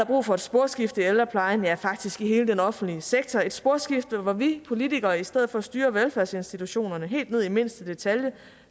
brug for et sporskifte i ældreplejen ja faktisk i hele den offentlige sektor et sporskifte hvor vi politikere i stedet for at styre velfærdsinstitutionerne helt ned i mindste detalje